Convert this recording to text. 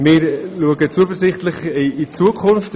Wir blicken zuversichtlich in die Zukunft.